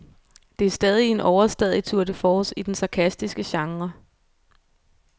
Det er stadig en overstadig tour de force i den sarkastiske genre.